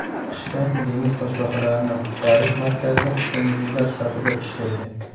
Qishda dengiz toshbaqalarini qutqarish markazida ko‘ngillilar safida ishlaydi.